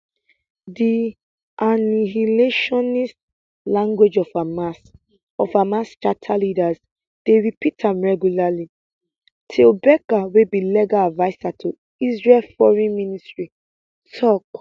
di annihilationist language of hamas of hamas charter leaders dey repeat am regularly tal becker wey be legal adviser to israel foreign ministry tok